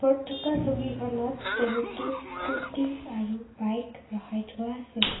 ইয়াত থকা ছবিখনত বহুতো স্কুটি আৰু বাইক ৰখাই থোৱা আছে।